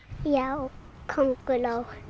já könguló